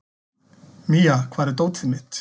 Mía, hvar er dótið mitt?